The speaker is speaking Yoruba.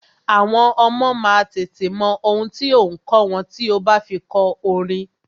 Àwọn ọmọ má a tètè mọ ohun tí ò ǹ kọ́ wọn tí o bá fi kọ orin.